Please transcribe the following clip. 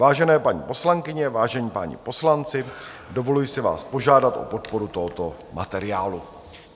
Vážené paní poslankyně, vážení páni poslanci, dovoluji si vás požádat o podporu tohoto materiálu.